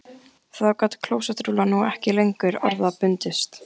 Þá gat klósettrúllan nú ekki lengur orða bundist